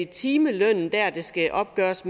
timelønnen der det skal opgøres